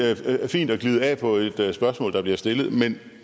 fint at glide af på et spørgsmål der bliver stillet men